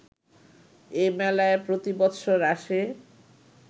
এ মেলায় প্রতি বৎসর আসে